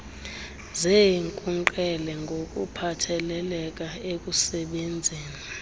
zeenkunkqele ngokuphathelele ekusebenzeni